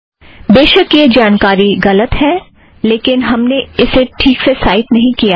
बेशक यह जानकारी गलत है लेकिन हमने इसे ठीक से साइट नहीं किया है